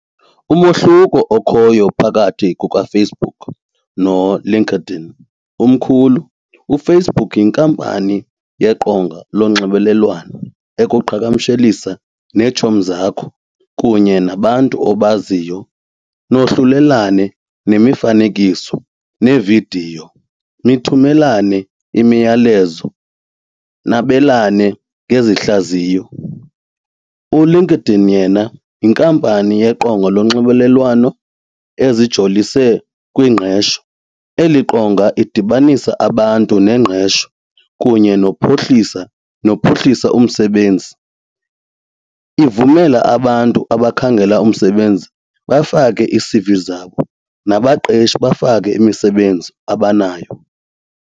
Umahluko okhoyo phakathi kukaFacebook noLinkedIn umkhulu. UFacebook yinkampani yeqonga lonxibelelwano ekuqhagamshelisa neetshomi zakho kunye nabantu obaziyo nohlulelane nemifanekiso neevidiyo, nithumelane imiyalezo nabelane ngezihlaziyo. ULinkedIn yena yinkampani yeqonga lonxibelelwano ezijolise kwingqesho. Eli qonga idibanisa abantu nengqesho kunye nokuphuhlisa nophuhlisa umsebenzi, ivumela abantu abakhangela umsebenzi bafake ii-C_V zabo nabaqeshi bafake imisebenzi abanayo.